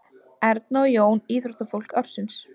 Erna og Jón íþróttafólk ársins